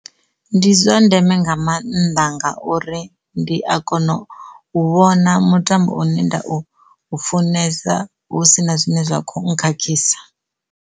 Ndi zwa ndeme nga mannḓa ngauri ndi a kona u vhona mutambo une nda u funesa hu si na zwine zwa kho khakhisa.